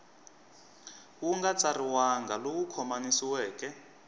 wu nga tsariwangi lowu khomanisiweke